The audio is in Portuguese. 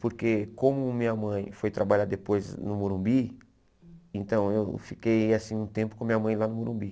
Porque como minha mãe foi trabalhar depois no Morumbi, então eu fiquei assim um tempo com minha mãe lá no Morumbi.